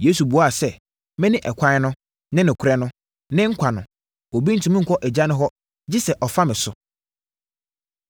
Yesu buaa sɛ, “Mene ɛkwan no, ne nokorɛ no, ne nkwa no; obi ntumi nkɔ Agya no hɔ, gye sɛ ɔfa me so.”